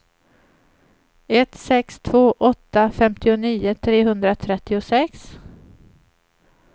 ett sex två åtta femtionio trehundratrettiosex